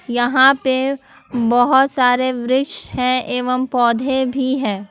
यहां पे बहुत सारे वृक्ष हैं एवं पौधे भी हैं।